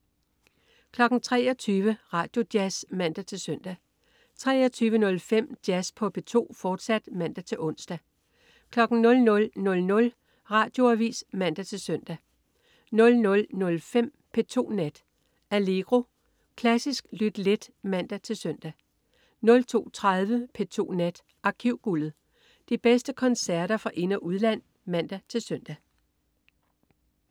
23.00 Radioavis (man-søn) 23.05 Jazz på P2, fortsat (man-ons) 00.00 Radioavis (man-søn) 00.05 P2 Nat. Allegro. Klassisk lyt let (man-søn) 02.30 P2 Nat. Arkivguldet. De bedste koncerter fra ind- og udland (man-søn)